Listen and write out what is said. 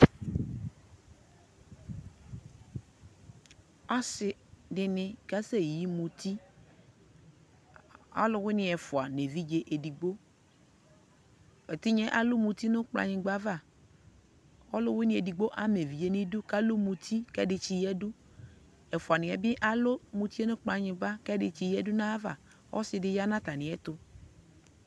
asii dini kasɛ yi mʋti, alʋwini ɛƒʋa nʋ ɛvidzɛ ɛdigbɔ, ɛtinyaɛ alʋ mʋti nʋ kplayingba aɣa kʋ ɔlʋwini ɛdigbɔ ama ɛvidzɛ nʋ idʋ kʋ alʋ mʋti kʋ ɛdi tsi yadʋ, ɛƒʋa niɛ bi alʋ mʋtiɛ nʋkplayingba kʋ ɛdi yadʋ nʋ ayiava, ɔsiidi yanʋ atamiɛ tʋ